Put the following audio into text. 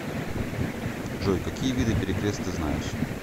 джой какие виды перекрест ты знаешь